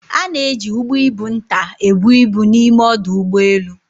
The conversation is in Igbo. A na-eji ụgbọ ibu nta ebu ibu n'ime ọdụ ụgbọ elu.